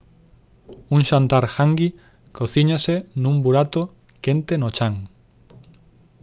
un xantar «hangi» cocíñase nun burato quente no chan